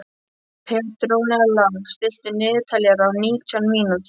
Petrónella, stilltu niðurteljara á nítján mínútur.